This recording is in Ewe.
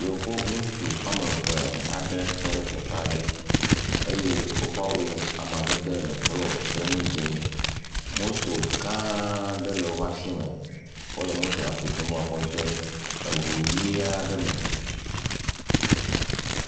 Yevu ŋutsu woame eve aɖewo tɔ ɖe teƒe aɖe, woƒe awu ƒe amadede le blɔ kple nu dzee, moto gã ɖe le woƒe asi me, wole motoa tutum be woakɔ de eŋu ʋe aɖe me.